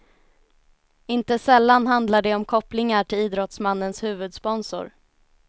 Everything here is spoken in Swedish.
Inte sällan handlar det om kopplingar till idrottsmannens huvudsponsor.